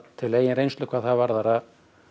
til eigin reynslu hvað það varðar að